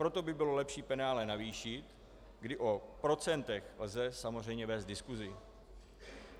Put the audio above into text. Proto by bylo lepší penále navýšit, kdy o procentech lze samozřejmě vést diskusi.